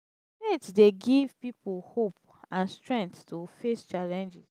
faith dey give people hope and strength to face challenges.